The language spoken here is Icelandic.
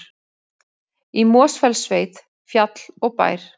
Í Mosfellssveit, fjall og bær.